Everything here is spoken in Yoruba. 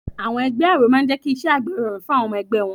Àwọn ẹgbẹ́ Àáró máa n jẹ́ kí iṣẹ́ àgbẹ̀ rọrùn fún àwọn ọmọ ẹgbẹ́ wọn